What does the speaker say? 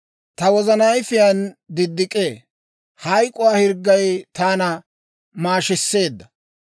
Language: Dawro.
Ta wozana ayifiyaan diddik'ee; hayk'k'uwaa hirggay taana maashiseedda.